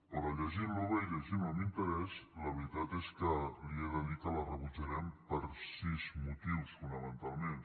però llegint lo bé i llegint lo amb interès la veritat és que li he de dir que la rebutjarem per sis motius fonamentalment